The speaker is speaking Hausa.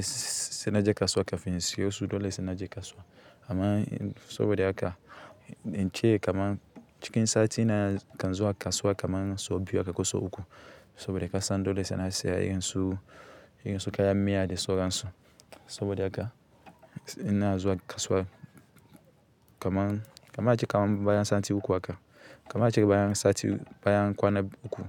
se se na je kasuwa kafin insiyosu, dole sai na je kasuwa amma sabo da aka, in ce kaman cikin sati na kan zuwa kasuwa kaman sau biyar akakosa uku. Sabo da kasan dole sai na siya irin su, irin su kayan miya da sauransu saboda haka ina zuwa kasuwa kaman, kaman ace kaman baya sati uku haka, kaman ace baya sati baya kwana uku.